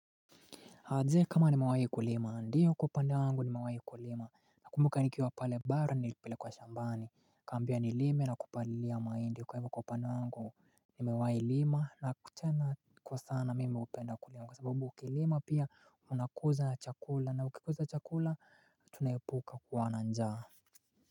Ah je kama nimewahi kulima, ndiyo kwa upande wangu nimewahi kulima, nakumbuka nikiwa pale bara nilipelekwa shambani, Nikaambiwa nilime na kupalilia mahindi, kwa hivyo kwa upande wangu nimewahi lima na tena kwa sana mimi hupenda kulima, kwa sababu ukilima pia unakuza chakula na ukikuza chakula tunaepuka kuwa na njaa.